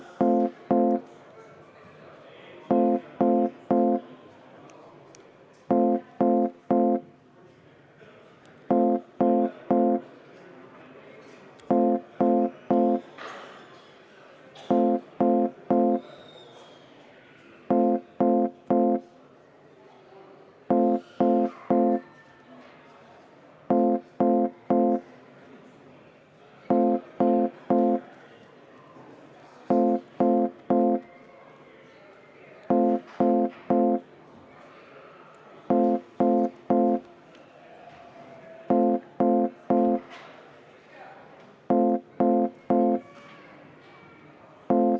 Head kolleegid, panen hääletusele juhtivkomisjoni ettepaneku eelnõu 141 esimesel lugemisel tagasi lükata.